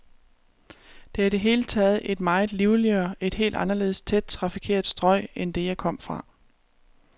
Det er i det hele taget et meget livligere, et helt anderledes tæt trafikeret strøg end det, jeg kom fra.